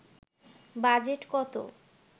budget কত